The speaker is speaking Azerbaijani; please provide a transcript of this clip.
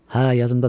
Hə, yadımdadır.